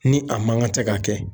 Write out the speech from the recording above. Ni a man kan tɛ k'a kɛ